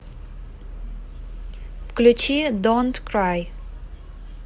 включи донт край